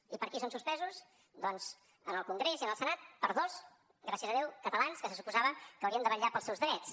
i per qui són suspesos doncs en el congrés i en el senat per dos gràcies a déu catalans que se suposava que haurien de vetllar pels seus drets